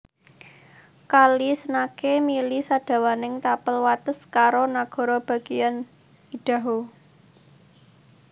Kali Snake mili sadawaning tapel wates karo nagara bagéyan Idaho